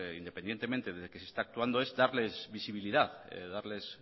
independientemente de que se está actuando es darles visibilidad darles